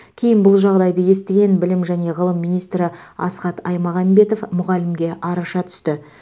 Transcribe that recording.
кейін бұл жағдайды естіген білім және ғылым министрі асхат аймағамбетов мұғалімге араша түсті